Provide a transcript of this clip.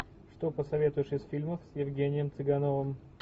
что посоветуешь из фильмов с евгением цыгановым